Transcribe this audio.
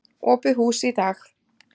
Opið hús í dag.